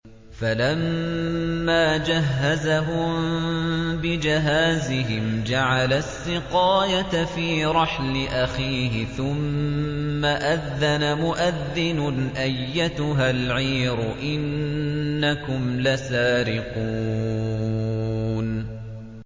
فَلَمَّا جَهَّزَهُم بِجَهَازِهِمْ جَعَلَ السِّقَايَةَ فِي رَحْلِ أَخِيهِ ثُمَّ أَذَّنَ مُؤَذِّنٌ أَيَّتُهَا الْعِيرُ إِنَّكُمْ لَسَارِقُونَ